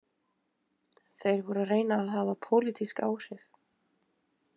Þeir voru að reyna að hafa pólitísk áhrif